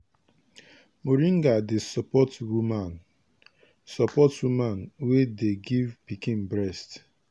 moringa dey support woman support woman wey dey give pikin breast.